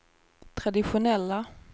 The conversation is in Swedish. traditionella